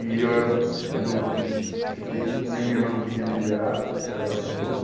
E eu era o o único que que fiquei, e a minha irmã não podia me liberar, porque ela era tutora.